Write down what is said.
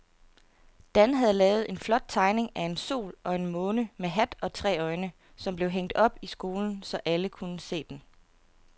Dan havde lavet en flot tegning af en sol og en måne med hat og tre øjne, som blev hængt op i skolen, så alle kunne se den.